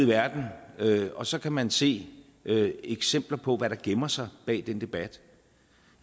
verden og så kan man se eksempler på hvad der gemmer sig bag den debat